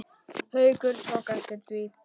Haukur tók eftir því.